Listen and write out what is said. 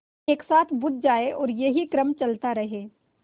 एक साथ बुझ जाएँ और यही क्रम चलता रहे